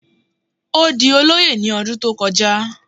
Ó di olóyè ní ọdún tó kọjá